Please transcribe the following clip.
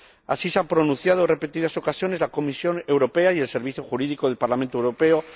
Así se ha pronunciado en repetidas ocasiones la Comisión Europea y el Servicio Jurídico del Parlamento Europeo.